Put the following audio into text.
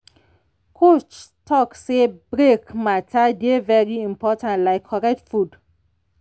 coach talk say break matter dey very important like correct food.